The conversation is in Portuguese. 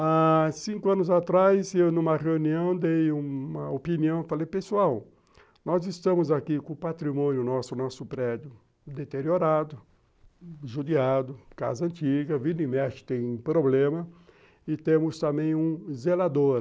Há cinco anos atrás, eu, numa reunião, dei uma opinião, falei, pessoal, nós estamos aqui com o patrimônio nosso, nosso prédio deteriorado, judiado, casa antiga, vira e mexe, tem problema, e temos também um zelador.